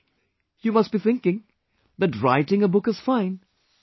You must be thinking that writing a book is fine...